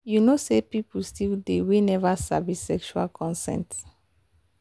you know say people still dey we never sabi sexual consent.